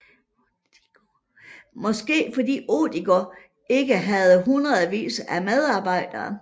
Måske fordi Odigo ikke havde hundredvis af medarbejdere